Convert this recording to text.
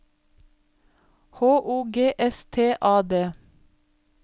H O G S T A D